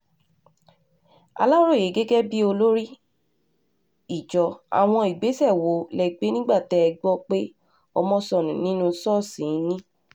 aláròye gẹ́gẹ́ bíi olórí ìjọ àwọn ìgbésẹ̀ wo lẹ gbé nígbà tẹ́ ẹ gbọ́ pé ọmọ sọnù nínú ṣọ́ọ̀ṣì yín